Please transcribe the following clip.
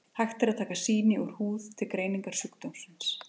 hægt er að taka sýni úr húð til greiningar sjúkdómsins